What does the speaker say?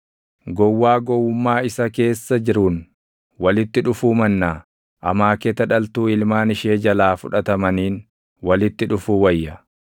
Gowwaa gowwummaa isa keessa jiruun walitti dhufuu mannaa amaaketa dhaltuu ilmaan ishee // jalaa fudhatamaniin walitti dhufuu wayya.